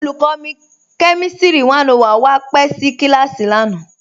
Olùkọ̀nì kẹmìstrì 101 wa pẹ̀ sí kílásì lánà.